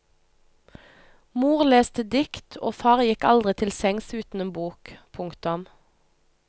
Mor leste dikt og far gikk aldri til sengs uten en bok. punktum